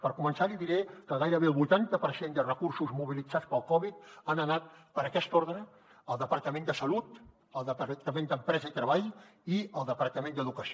per començar li diré que gairebé el vuitanta per cent de recursos mobilitzats pel covid han anat per aquest ordre al departament de salut al departament d’empresa i treball i al departament d’educació